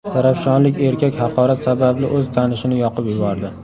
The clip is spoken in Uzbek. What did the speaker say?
Zarafshonlik erkak haqorat sababli o‘z tanishini yoqib yubordi.